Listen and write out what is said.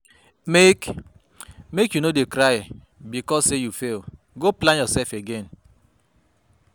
Mek, mek, you no dey cry because sey you fail, go plan yoursef again.